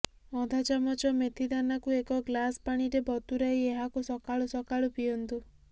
ଅଧା ଚାମଚ ମେଥିଦାନାକୁ ଏକ ଗ୍ଲାସ ପାଣିରେ ବତୁରାଇ ଏହାକୁ ସକାଳୁ ସକାଳୁ ପିଅନ୍ତୁ